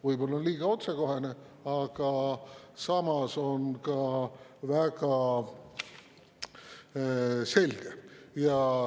" Võib-olla liiga otsekohene, aga samas on see ka väga selge.